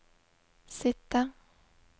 sitte